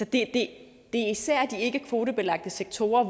det er især i de ikkekvotebelagte sektorer